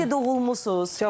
Yaxşı ki, doğulmusunuz.